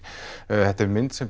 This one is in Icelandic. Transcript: þetta er mynd sem